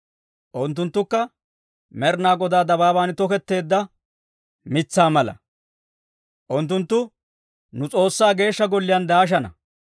Unttunttukka Med'inaa Godaa dabaaban toketteedda mitsaa mala; unttunttu nu S'oossaa Geeshsha Golliyaan daashana.